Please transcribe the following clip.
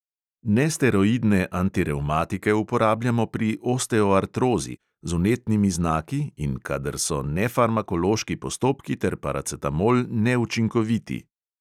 Nesteroidne antirevmatike uporabljamo pri osteoartrozi z vnetnimi znaki in kadar so nefarmakološki postopki ter paracetamol neučinkoviti.